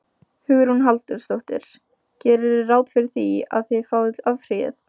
Hugrún Halldórsdóttir: Gerirðu ráð fyrir því að, að þið áfrýið?